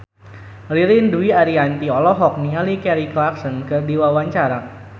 Ririn Dwi Ariyanti olohok ningali Kelly Clarkson keur diwawancara